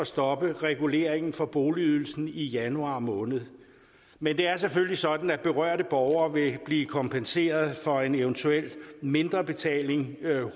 stoppe reguleringen for boligydelsen i januar måned men det er selvfølgelig sådan at berørte borgere vil blive kompenseret for en eventuel mindrebetaling